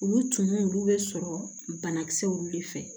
Olu tun olu bɛ sɔrɔ banakisɛw de fɛ